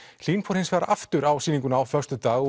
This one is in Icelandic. Hlín fór hins vegar aftur á sýninguna á föstudag